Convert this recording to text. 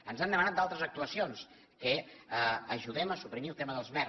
ens han demanat altres actuacions que ajudem a suprimir el tema dels mer